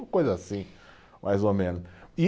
Uma coisa assim, mais ou menos, e